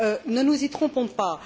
Ne nous y trompons pas.